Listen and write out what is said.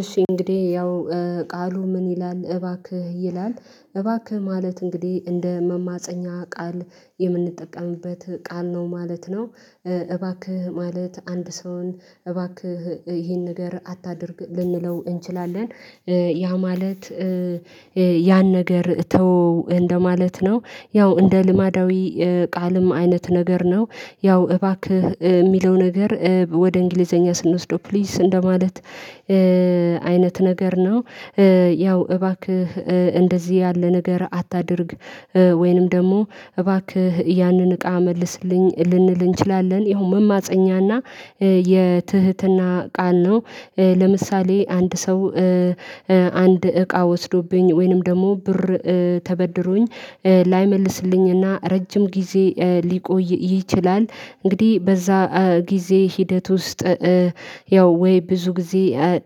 እሺ እንግዲህ ያው ቃሉ ምን ይላል እባክህ ይላል እባክህ ማለት እንግዲህ እንደ መማፀኛ ቃል የምንጠቀምበት ቃል ነው ማለት ነው። እባክህ ማለት አንድ ሰውን እባክህ ይሄን ነገር አታድርግ ልንለው እንችላለን። ያ ማለት ያን ነገር ተወው እንደማለት ነው። ያው እንደ ልማዳዊ ቃልም አይነት ነገር ነው። ያው እባክህ የሚለው ነገር ወደ እንግሊዘኛ ስንወስደው ፕሊስ እንደማለት አይነት ነገር ነው። ያው እባክህ እንደዚህ ያለ ነገር አታድርግ። ወይንም ደግሞ እባክህ ያንን እቃ መልስልኝ ልንል እንችላለን ያው መማፀኛና የትህትና ቃል ነው። ለምሳሌ አንድ ሰው አንድ እቃ ወስዶብኝ ወይንም ደግሞ ብር ተበድሮኝ ላይመልስልኝና ረጅም ጊዜ ሊቆይ ይችላል። እንግዲህ በዛ ጊዜ ሂደት ውስጥ ያው ወይ ብዙ ጊዜ